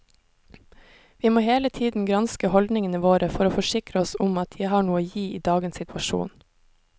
Vi må hele tiden granske holdningene våre for å forsikre oss om at de har noe å gi i dagens situasjon.